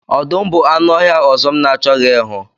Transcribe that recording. Ọdụm bụ anụ ọhịa ọzọ m na-achọghị ịhụ.